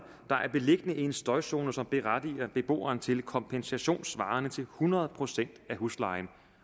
er beliggende i en støjzone som berettiger beboeren til kompensation svarende til hundrede procent af huslejen